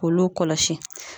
K'olu kɔlɔsi.